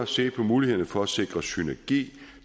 ses på mulighederne for at sikre synergi